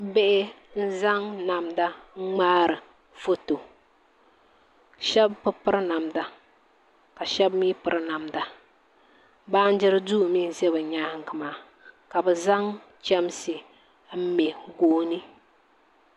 Bihi n-zaŋ namda n-ŋmaari foto shɛba bi piri namda ka shɛba mi piri namda baanjiri duu mi n-za bɛ nyaaŋa maa ka bɛ zaŋ chamsi m-me gooni